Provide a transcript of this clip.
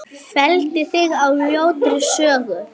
Felldi þig á ljótri sögu.